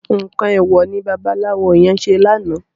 Nkán éwò wó ni bàbàláwó yèn sé làná?